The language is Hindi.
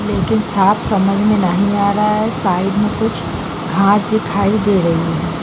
एक दम साफ समझ में नहीं आ रहा है साइड में कुछ घास दिखाई दे रहे है ।